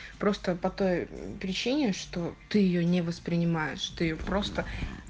просто по той причине что ты её не воспринимаешь что её просто